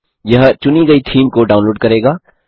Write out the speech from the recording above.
यह चुनी गई थीम को डाउनलोड करेगा